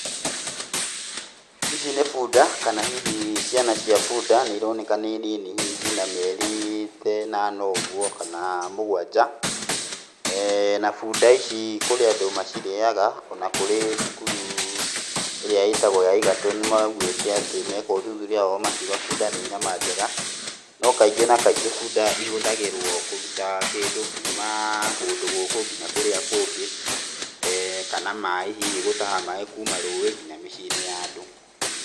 Ici nĩ bunda kana hihi ciana cia bunda nĩironeka nĩ nini hihi ciĩna mĩeri ta inana ũguo kana mũgwanja, na bunda ici kũrĩ andũ mairĩaga, ona kũrĩ cukuru ĩrĩa ĩtagwo ya Egerton maugĩte atĩ meka ũthuthuria wao makiuga bunda nĩ nyama njega, no kaingĩ na kaingĩ bunda ihũthagĩrwo kũruta kĩndũ kuma kũndũ gũkũ kinya kũrĩa kũngĩ, kana maĩ hihi gũtaha maĩ kuma rũĩ kinya mĩciĩ-inĩ ya andũ.